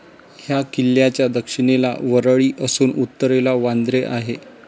ह्या किल्ल्याच्या दक्षिणेला वरळी असून उत्तरेला वांद्रे आहे.